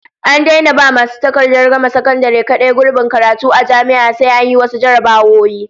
An daina ba masu takardar gama sakandare kadai gurbin karatu a jami'a, sai an yi wasu jarrabawoyi